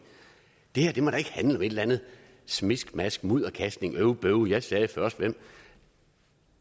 eller andet miskmask mudderkastning øv bøv jeg sagde først hvem